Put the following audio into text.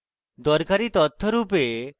দরকারী তথ্য রূপে